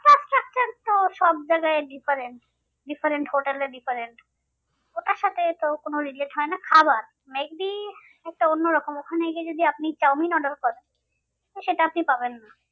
না ও সব জায়াগায় difference different hotel এ different ওটার সাথে এটার কোনো relate হয় না খাবার may be একটা অন্য রকম একটা ওখানে গিয়ে যদি আপনি চাউমিক order করেন তো সেটা আপনি পাবেন না।